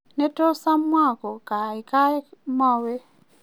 ne tos amua ko kaikai mawe